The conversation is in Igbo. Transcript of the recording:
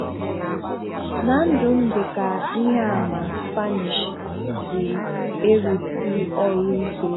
Na ndụ m dị ka ihe àmà Spanish si e-rùsì um ọrụ ike.